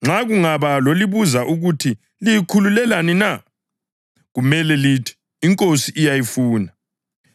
Nxa kungaba lozalibuza ukuthi, Liyikhululelani na?’ kumele lithi, ‘INkosi iyayifuna.’ ”